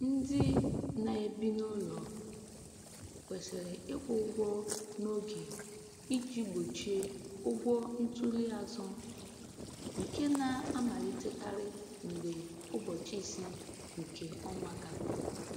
Ndị na-ebi n’ụlọ kwesịrị ịkwụ ụgwọ n’oge iji gbochie ụgwọ ntuli azụ, nke na-amalitekarị mgbe ụbọchị ise nke ọnwa gafere.